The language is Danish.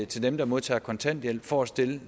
til dem der modtager kontanthjælp for at stille